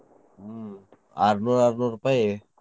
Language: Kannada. ಆರ್ನೂರ್ ಆರ್ನೂರ್ ರುಪೈ.